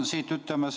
Aitäh!